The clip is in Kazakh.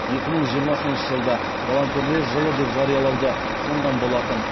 екі мың жиырмасыншы жылды волонтерлер жылы деп жариялауды ұсынған болатын